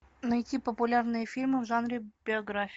найти популярные фильмы в жанре биография